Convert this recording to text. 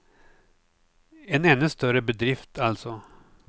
En ännu större bedrift, alltså.